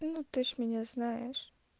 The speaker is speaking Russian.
ну ты ж меня знаешь